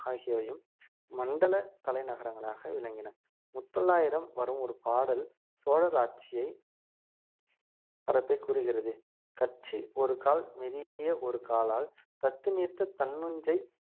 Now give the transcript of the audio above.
ஆகியவையும் மண்டல தலைநகரங்களாக விளங்கின முத்தொள்ளாயிரம் வரும் ஒரு பாடல் சோழர் ஆட்சியை பரப்பை கூறுகிறது கட்சி ஒரு கால் மிதிய ஒரு காலால் தத்து நீர்த்த தன்னொஞ்சை